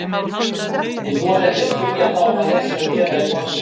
Ég þori ekki að spyrja þá hvað þeir séu að gera í borginni.